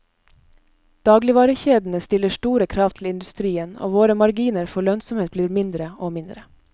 Dagligvarekjedene stiller store krav til industrien, og våre marginer for lønnsomhet blir mindre og mindre.